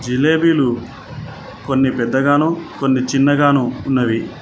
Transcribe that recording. జిలేబీలు కొన్ని పెద్దగాను కొన్ని చిన్నగాను ఉన్నవి.